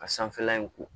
Ka sanfɛla in ko